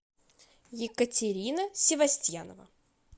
екатерина севастьянова